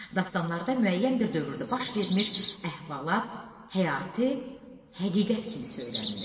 Dastanlarda müəyyən bir dövrdə baş vermiş əhvalat həyati həqiqət kimi söylənilir.